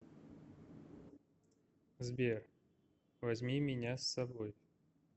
сбер возьми меня с собой